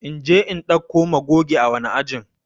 In je in dauko magoge ã wani ajin?